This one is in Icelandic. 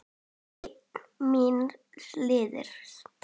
Einn míns liðs.